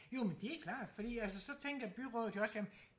jo men det er klart fordi altså så tænker byrådet jo også jamen